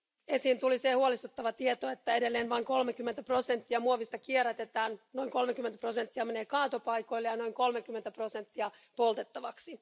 Esiin tuli se huolestuttava tieto, että edelleen vain 30 prosenttia muovista kierrätetään, noin 30 prosenttia menee kaatopaikoille ja noin 30 prosenttia menee poltettavaksi.